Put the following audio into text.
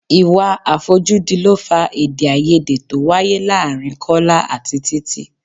Ìwà àfojúdi ló fà èdè-áiyedé tó wáyé láàárín Kọ́lá àti Títí.